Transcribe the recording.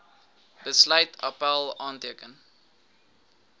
besluit appèl aanteken